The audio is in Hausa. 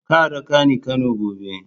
Ka raka ni Kano gobe!